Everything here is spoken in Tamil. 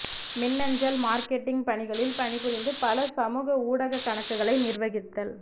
மின்னஞ்சல் மார்க்கெட்டிங் பணிகளில் பணிபுரிந்து பல சமூக ஊடக கணக்குகளை நிர்வகித்தல்